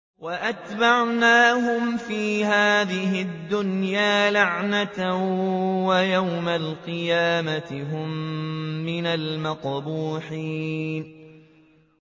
وَأَتْبَعْنَاهُمْ فِي هَٰذِهِ الدُّنْيَا لَعْنَةً ۖ وَيَوْمَ الْقِيَامَةِ هُم مِّنَ الْمَقْبُوحِينَ